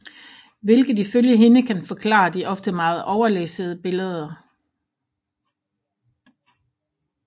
Hvilket ifølge hende kan forklare de ofte meget overlæssede billeder